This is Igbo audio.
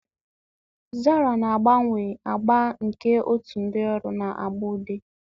Zara na-agbanwe agba nke otu ndị ọrụ na agba ude.